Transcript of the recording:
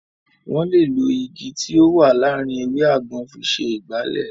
Wọ́n lè lo Igi tí ó wà láàárín ewé àgbọn fi ṣe Ìgbálẹ́